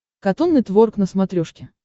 катун нетворк на смотрешке